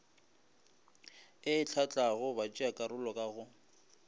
e hlahlago batšeakarolo ka go